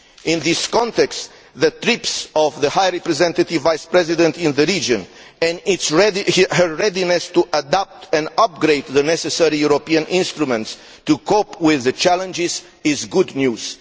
In this context, the trips of the High Representative Vice President to the region, and her readiness to adapt and upgrade the necessary European instruments to cope with the challenges, are good news.